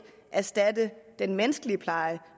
erstatte den menneskelige pleje